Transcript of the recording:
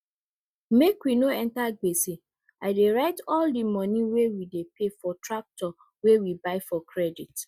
make we no enter gbese i dey write all di moni wey we dey pay for tractor wey we buy for credit